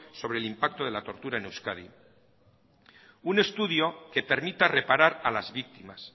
sobre el impacto de la tortura en euskadi un estudio que permita reparar a las víctimas